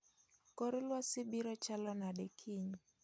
kor lwasi biro chalnade kiny